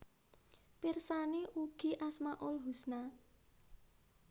Pirsani ugi Asmaul husna